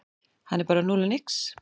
Hann er bara núll og nix